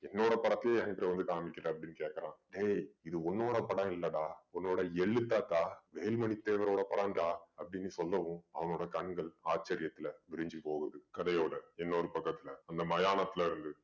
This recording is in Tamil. என்னோட படத்தையே எங்கிட்ட வந்து காமிக்கிற அப்படீன்னு கேக்குறான். டேய் இது உன்னோட படம் இல்லடா உன்னோட எள்ளு தாத்தா வேலு மணி தேவரோட படம்டா அப்படீன்னு சொன்னதும் அவனோட கண்கள் ஆச்சசர்யத்துல விரிஞ்சு போகுது. கதையோட இன்னொரு பக்கத்துல அந்த மயானத்துல இருந்து